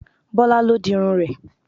Bọ́lá ló dirun rẹ̀